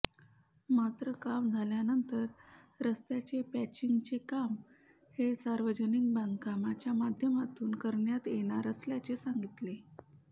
मात्र काम झाल्यानंतर रस्त्याचे पॅचिंग चे काम हे सार्वजनिक बांधकामच्या माध्यमातून करण्यात येणार असल्याचे सांगितले